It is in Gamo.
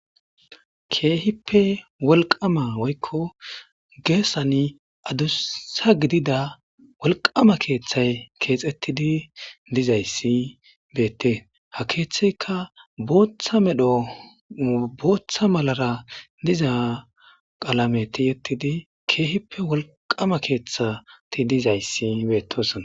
keehippe wolqama woykko geessani adussa gidida wolqama keeththay keexettidi dizayssi beettee ha keeththeyka booththa medho booththa malara diza qalameti yettidi keehippe wolqama keeththati dizayssi beettosona